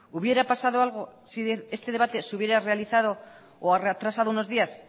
hubiera pasado algo si este debate se hubiera realizado o atrasado unos días